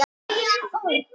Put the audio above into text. Ég dæsti.